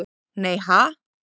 Nei ha?